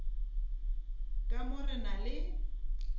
ka mo re na le